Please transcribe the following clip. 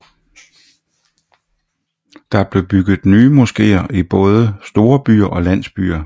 Der blev bygget nye moskeer i både store byer og landsbyer